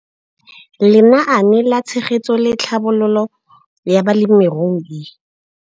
Lenaane la Tshegetso le Tlhabololo ya Balemirui.